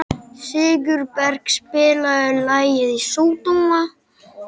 Sigurberg, spilaðu lagið „Sódóma“.